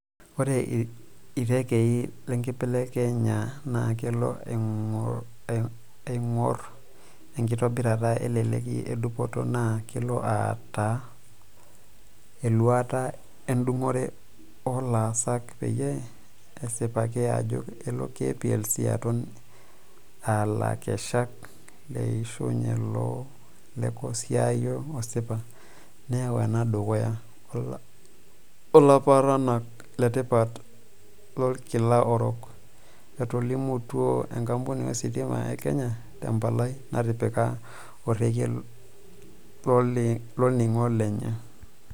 "Ore irekei lekibelekenya naa kelo ainguro enkitobirat eleleki edupoto naa kelo aata...eluata edungore oolaasak peyie esipaki ajo elo KPLC aton a lakeshak leishooyo lekosaayio osipa neyau ena dukuya oolaparanak letipat lolkila orok," Etolimutuo enkampuni ositima e Kenya te mpalai natipika orekia loloingange lenye.